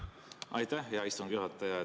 Aitäh, hea istungi juhataja!